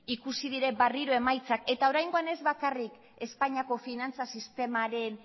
ikusi dira berriro emaitzak eta oraingoan ez bakarrik espainiako finantza